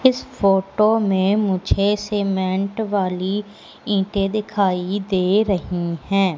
इस फोटो में मुझे सीमेंट वाली ईंटे दिखाई दे रही है।